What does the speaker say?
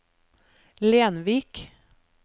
Lenvik